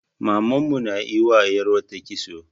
Maman mu na yi ma 'yar uwata kitso.